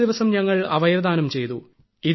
അടുത്ത ദിവസം ഞങ്ങൾ അവയവദാനം ചെയ്തു